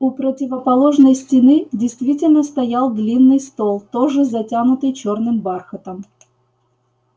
у противоположной стены действительно стоял длинный стол тоже затянутый чёрным бархатом